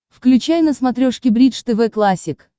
включай на смотрешке бридж тв классик